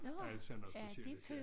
Alt sådan noget specielle ting